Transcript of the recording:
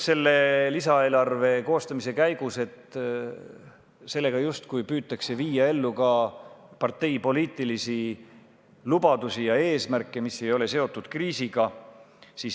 Lisaeelarve koostamise käigus on ette heidetud, et sellega justkui püütakse viia ellu ka parteipoliitilisi lubadusi ja eesmärke, mis ei ole seotud kriisiga.